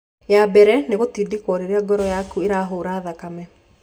Ya mbere nĩ gũtindĩko rĩrĩa ngoro yaku ĩrahũra thakame.